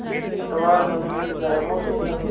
पतवार बनूँगी लहरों से लडूँगी